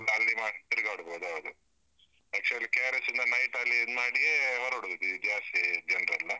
ಅಲ್ಲಿ ಮಾಡಿ ತಿರುಗಾಡ್ಬಹುದು, ಹೌದು. actually KRS ಇಂದ night ಅಲ್ಲಿ ಇದು ಮಾಡಿಯೇ ಹೊರಡುದು ಜಾಸ್ತಿ ಜನರೆಲ್ಲ.